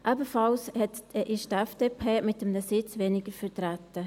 Ebenfalls ist die FDP mit 1 Sitz weniger vertreten.